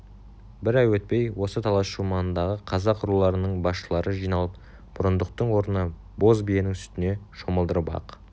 бір ай өтпей осы талас шу маңындағы қазақ руларының басшылары жиналып бұрындықтың орнына боз биенің сүтіне шомылдырып ақ